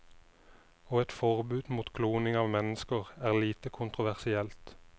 Og et forbud mot kloning av mennesker er lite kontroversielt.